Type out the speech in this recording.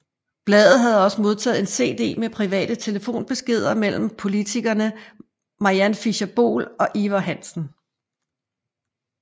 Bladet havde også modtaget en CD med private telefonbeskeder mellem politikerne Mariann Fischer Boel og Ivar Hansen